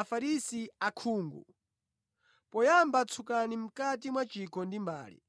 Afarisi akhungu! Poyamba tsukani mʼkati mwa chikho ndi mbale,